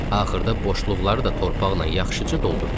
Axırda boşluqları da torpaqla yaxşıca doldurduq.